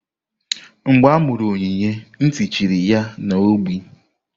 Mgbe amuru Onyinye nti chiri ya na ogbi.